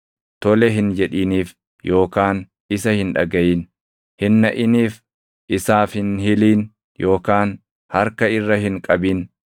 tole hin jedhiniif yookaan isa hin dhagaʼin. Hin naʼiniif. Isaaf hin hilin yookaan harka irra hin qabin.